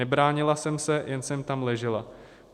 Nebránila jsem se, jen jsem tam ležela.